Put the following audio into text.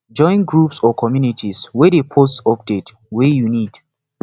join groups or communities wey de post update wey you need